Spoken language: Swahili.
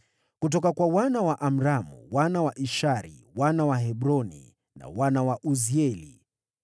Kutoka kwa wana wa Amramu, wana wa Ishari, wana wa Hebroni na wana wa Uzieli: